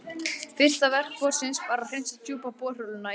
Fyrsta verk borsins var að hreinsa djúpu borholuna í